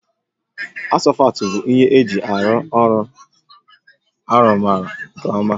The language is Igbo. Asfọltụ bụ ihe eji arụ ọrụ arụgharị nke ọma